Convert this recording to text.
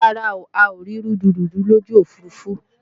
Rárá,a ò rí rúdurùdu lójú òfurufú